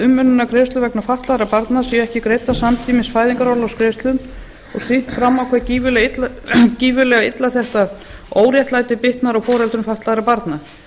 umönnunargreiðslur vegna fatlaðra barna séu ekki greiddar samtímis fæðingarorlofsgreiðslum og sýnt fram á hvað gífurlega illa þetta óréttlæti bitnar á foreldrum fatlaðra barna